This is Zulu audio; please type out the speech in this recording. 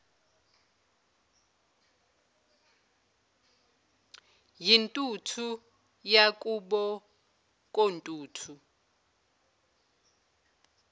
yintuthu yakubo kontuthu